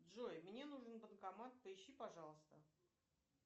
джой мне нужен банкомат поищи пожалуйста